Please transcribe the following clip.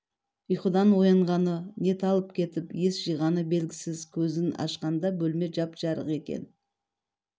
ұйқыдан оянғаны не талып кетіп ес жиғаны белгісіз көзін ашқанда бөлме жап-жарық екен